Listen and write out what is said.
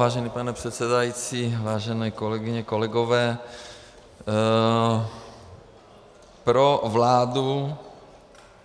Vážený pane předsedající, vážené kolegyně, kolegové, pro vládu,